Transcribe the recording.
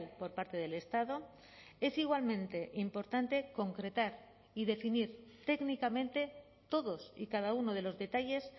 por parte del estado es igualmente importante concretar y definir técnicamente todos y cada uno de los detalles